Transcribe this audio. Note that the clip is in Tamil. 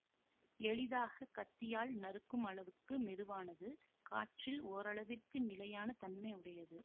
எளிதாக கத்தியால் நறுக்கும் அளவுக்கு மெதுவானது காற்றில் ஓரளவிற்கு நிலையான தன்மை உடையது